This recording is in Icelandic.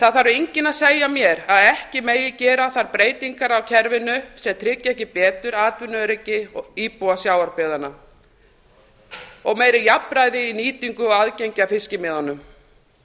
það þarf enginn að segja mér að ekki megi gera þær breytingar á kerfinu sem tryggja ekki betur atvinnuöryggi og íbúa sjávarbyggðanna og meira jafnræði í nýtingu á aðgengi að fiskimiðunum